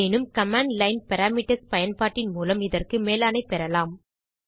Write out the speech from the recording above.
எனினும் command line parameters பயன்பாட்டின் மூலம் இதற்கு மேலாணை பெறலாம்